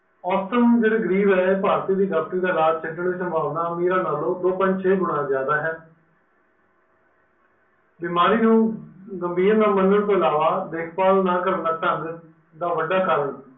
awesome ਜਹੜੇ ਗਰੀਬ ਹਨ ਭਰਤੀ ਦੇ ਡੋਕਟੋਰੀ ਦਾ ਇਲਾਜ ਛੜਨ ਦੀ ਸੰਭਾਵਹਣਾ ਅਮੀਰ ਨਾਲੋਂ ਦੋ point ਛੇ ਗੁਨਾ ਜ਼ਿਆਦਾ ਹੈ, ਬਿਮਾਰੀ ਨੂੰ ਗਮਬੀਰ ਨਾਲ ਮਨਨ ਤੋਹ ਇਲਵਾ ਦੇਖ ਬਾਲ ਨਾ ਕਰਨ ਦਾ ਢੰਗ ਦਾ ਵੱਡਾ ਕਾਰਨ